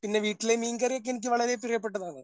പിന്നെ വീട്ടിലെ മീൻകറിക്കെ എനിക്ക് വളരെ പ്രിയപ്പെട്ടതാണ്.